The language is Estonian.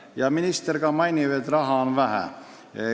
Ja ministergi märgib, et raha on vähe.